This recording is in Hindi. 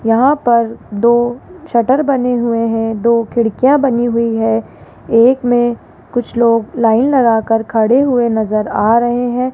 यहां पर दो शटर बने हुए हैं दो खिड़कियां बनी हुई है एक में कुछ लोग लाइन लगाकर खड़े हुए नजर आ रहे हैं।